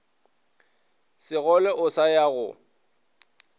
segole o sa ya go